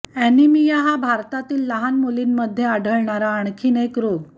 anaemia हा भारतातील लहान मुलींमध्ये आढळणारा आणखी एक रोग